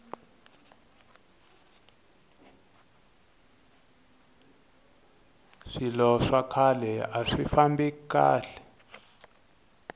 swilo swa khale aswi famba kahle